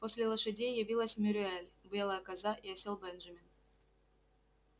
после лошадей явилась мюриель белая коза и осел бенджамин